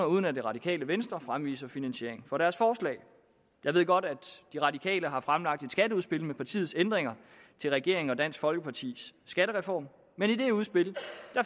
uden at det radikale venstre fremviser finansiering for deres forslag jeg ved godt at det radikale venstre har fremlagt et skatteudspil med partiets ændringer til regeringen og dansk folkepartis skattereform men i det udspil